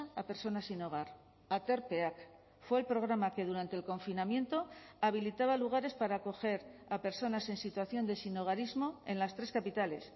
a personas sin hogar aterpeak fue el programa que durante el confinamiento habilitaba lugares para acoger a personas en situación de sinhogarismo en las tres capitales